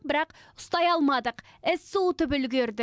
бірақ ұстай алмадық із суытып үлгерді